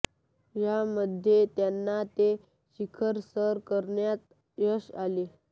यामध्ये त्यांना ते शिखर सर करण्यात यश आले